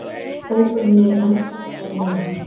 Hópurinn er enn sterkari núna